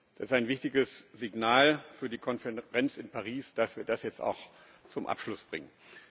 Es ist ein wichtiges Signal für die Konferenz in Paris, dass wir das jetzt auch zum Abschluss bringen.